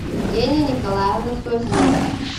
евгения николаевна созинова